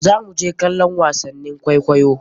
Zamu je kallon wasannin kwaikwaiyo.